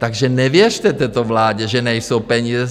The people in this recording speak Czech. Takže nevěřte této vládě, že nejsou peníze.